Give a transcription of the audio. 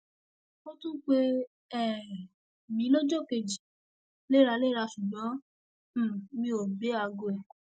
ó tún pè um mí lọjọ kejì léraléra ṣùgbọn um mi ò gbé aago ẹ